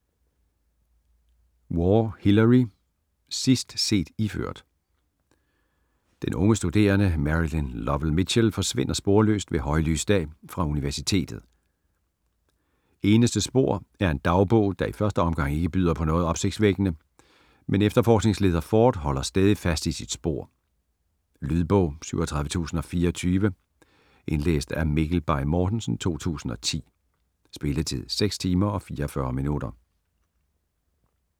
Waugh, Hillary: Sidst set iført Den unge studerende Marilyn Lowell Mitchell forsvinder sporløst ved højlys dag fra universitet. Eneste spor er en dagbog, der i første omgang ikke byder på noget opsigtsvækkende, men efterforskningsleder Ford holder stædigt fast i sit spor. Lydbog 37024 Indlæst af Mikkel Bay Mortensen, 2010. Spilletid: 6 timer, 44 minutter.